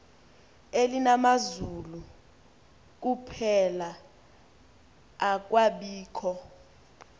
elalinamazulu kuphela akwabikho